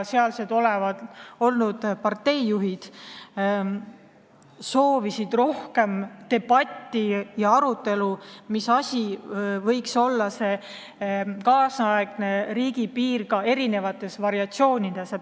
Seal olnud parteijuhid soovisid rohkem debatti ja arutelu, mis asi võiks olla nüüdisaegne riigipiir ka oma eri variatsioonides.